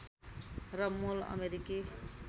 र मूल अमेरिकी